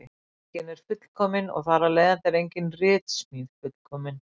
Enginn er fullkominn og þar af leiðandi er engin ritsmíð fullkomin.